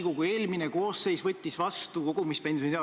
Noh, kui palju seda armastust siin poliitikas erakondade vahel ikka on.